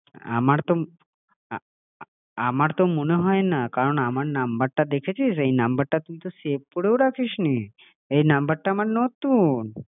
আমার তো আমার তো মনে হয় না কারণ আমার নম্বরটা দেখেছিস এই নম্বরটা তুই তো সেভ করেও রাখিসনি, আরে তোমার গলা শুনে এই নম্বরটা আমার নতুন,